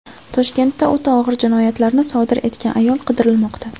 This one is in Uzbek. Toshkentda o‘ta og‘ir jinoyatlarni sodir etgan ayol qidirilmoqda.